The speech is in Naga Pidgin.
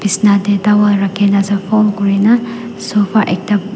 bisna tae towel rakhina ase fold kurina sofa ekta.